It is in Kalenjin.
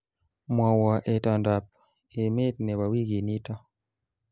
Mwowo itondoab emet nebo wikinito